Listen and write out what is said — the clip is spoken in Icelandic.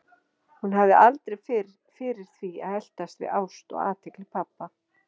Hún hafði aldrei fyrir því að eltast við ást eða athygli pabba.